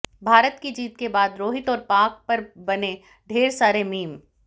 भारत की जीत के बाद रोहित और पाक पर बने ढेर सारे मीम